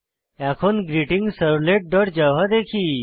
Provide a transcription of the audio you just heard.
এবং greetingservletজাভা দেখি